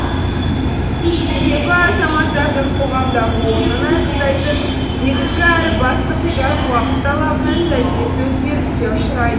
себебі азаматтардың қоғамдағы орнын айқындайтын негізгі әрі басты құжат уақыт талабына сәйкес өзгеріске ұшырай